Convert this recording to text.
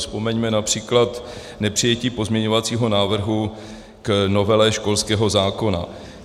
Vzpomeňme například nepřijetí pozměňovacího návrhu k novele školského zákona.